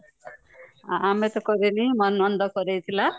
ଆମେତ କରିବନି ମାନନ୍ଦ କରେଇଥିଲା